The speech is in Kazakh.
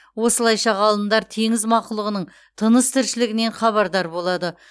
осылайша ғалымдар теңіз мақұлығының тыныс тіршілігінен хабардар болады